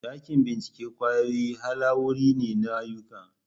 Dakin bincike kwayoyi halawuri ne na ayyuka.